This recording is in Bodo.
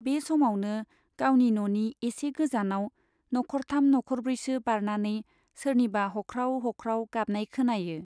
बे समावनो गावनि न'नि एसे गोजानाव नख'रथाम नख'रब्रैसो बारनानै सोरनिबा हख्राव हख्राव गाबनाय खोनायो।